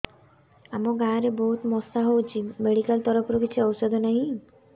ଆମ ଗାଁ ରେ ବହୁତ ମଶା ହଉଚି ମେଡିକାଲ ତରଫରୁ କିଛି ଔଷଧ ନାହିଁ